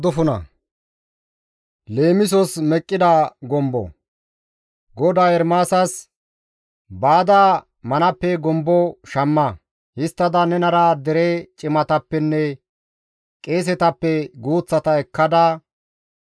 GODAY Ermaasas, «Baada manappe gombo shamma; histtada nenara dere cimatappenne qeesetappe guuththata ekkada,